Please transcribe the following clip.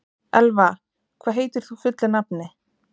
Elva, hvað heitir þú fullu nafni?